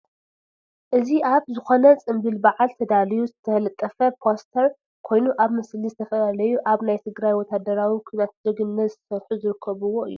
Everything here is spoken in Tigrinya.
እዚ አብ ዝኮነ ፅምብል በዓል ተዳልዩ ዝተለጠፈ ፖስተር ኮይኑ እብቲ ምስሊ ዝተፈላለዩ አብ ናይ ትግራይ ወታደራዊ ኲናት ጀግንነት ዝሰርሑ ዝርከቡዎ እዩ፡፡